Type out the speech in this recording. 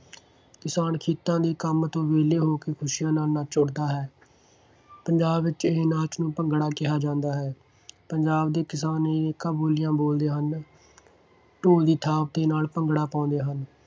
ਕਿਸਾਨ ਖੇਤਾਂ ਦੇ ਕੰਮ ਤੋਂ ਵਿਹਲੇ ਹੋ ਕੇ ਖੁਸ਼ੀਆਂ ਨਾਲ ਨੱਚ ਉੱਠਦਾ ਹੈ। ਪੰਜਾਬ ਵਿੱਚ ਇਹ ਨਾਚ ਨੂੰ ਭੰਗੜਾਂ ਕਿਹਾ ਜਾਂਦਾ ਹੈ। ਪੰਜਾਬ ਦੇ ਕਿਸਾਨ ਅਨੇਕਾਂ ਬੋਲੀਆਂ ਬੋਲਦੇ ਹਨ। ਢੋਲ ਦੀ ਥਾਪ ਦੇ ਨਾਲ ਭੰਗੜਾ ਪਾਉਂਦੇ ਹਨ।